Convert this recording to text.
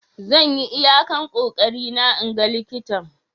Zan yi iyakan kokeri na 'n gan likitan.